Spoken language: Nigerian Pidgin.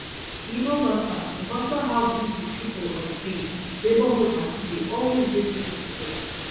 e no matter no matter how busy people um dey neighborhood party dey always bring people together